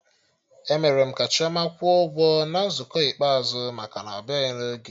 E mere ka Chioma kwụọ ụgwọ na nzukọ ikpeazụ maka na ọbịaghị n'oge